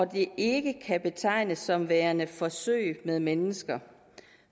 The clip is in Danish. det ikke kan betegnes som værende forsøg med mennesker